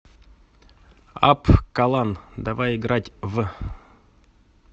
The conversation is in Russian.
апп калан давай играть в